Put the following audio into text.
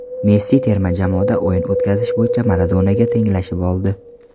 Messi terma jamoada o‘yin o‘tkazish bo‘yicha Maradonaga tenglashib oldi.